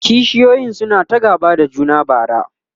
kishiyoyin suna ta gaba da juna bara